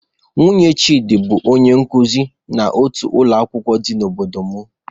Nwunye Chidi bụ onye nkuzi n'otu ụlọ akwụkwọ dị n'obodo m.